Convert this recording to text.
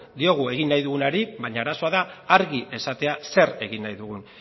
diogun egin nahi dugunari baina arazoa da argi esatea zer egin nahi dugun